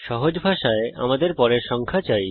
সহজ ভাষায় আমাদের পরের সংখ্যা চাই